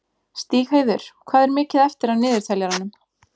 Stígheiður, hvað er mikið eftir af niðurteljaranum?